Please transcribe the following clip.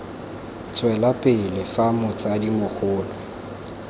tswela pele fa motsadi mogolo